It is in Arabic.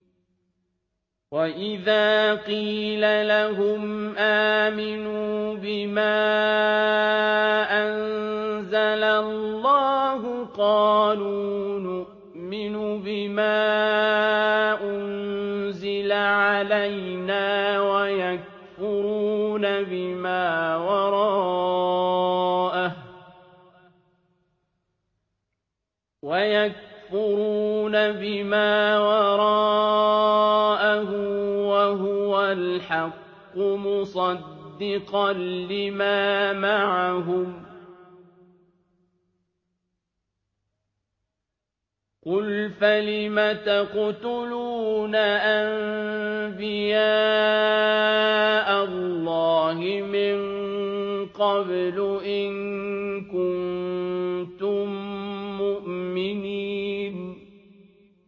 وَإِذَا قِيلَ لَهُمْ آمِنُوا بِمَا أَنزَلَ اللَّهُ قَالُوا نُؤْمِنُ بِمَا أُنزِلَ عَلَيْنَا وَيَكْفُرُونَ بِمَا وَرَاءَهُ وَهُوَ الْحَقُّ مُصَدِّقًا لِّمَا مَعَهُمْ ۗ قُلْ فَلِمَ تَقْتُلُونَ أَنبِيَاءَ اللَّهِ مِن قَبْلُ إِن كُنتُم مُّؤْمِنِينَ